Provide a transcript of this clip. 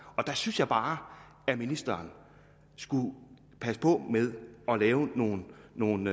og der synes jeg bare at ministeren skulle passe på med at lave nogle nogle